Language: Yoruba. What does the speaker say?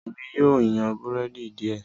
Èmi yíò yan Búrẹ́dì diẹ